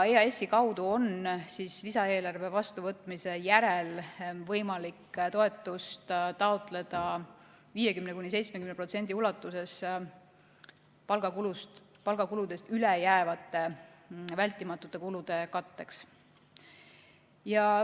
EAS-i kaudu on lisaeelarve vastuvõtmise järel võimalik toetust taotleda 50–70% ulatuses palgakuludest üle jäävate vältimatute kulude katteks.